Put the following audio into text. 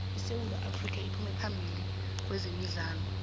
isewu afrika iphuma phambili kwezemidlalo